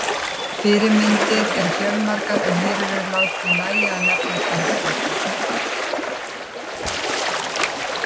Fyrirmyndir eru fjölmargar en hér er látið nægja að nefna þrjár slíkar.